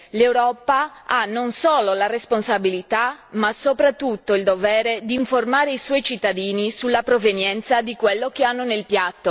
L'Europa ha non solo la responsabilità ma soprattutto il dovere di informare i suoi cittadini sulla provenienza di quello che hanno nel piatto.